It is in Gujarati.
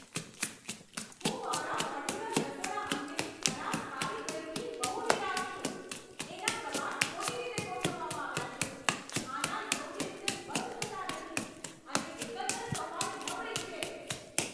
હું મારા મોડ્યુલર રસોડા અંગેની ખરાબ કારીગરીથી બહુ નિરાશ છું. એનાં કબાટ ખોટી રીતે ગોઠવવામાં આવ્યાં છે, ખાનાં યોગ્ય રીતે બંધ થતાં નથી અને એકંદર સફાઈ નબળી છે.